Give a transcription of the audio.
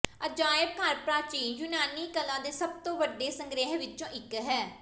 ਅਜਾਇਬ ਘਰ ਪ੍ਰਾਚੀਨ ਯੂਨਾਨੀ ਕਲਾ ਦੇ ਸਭ ਤੋਂ ਵੱਡੇ ਸੰਗ੍ਰਹਿ ਵਿੱਚੋਂ ਇਕ ਹੈ